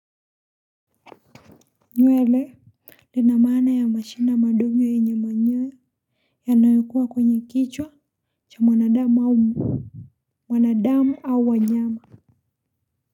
Nywele lina maana ya mashina madogo yenye manyewe yanayokuwa kwenye kichwa cha mwanadamu mwanadamu au wanyama.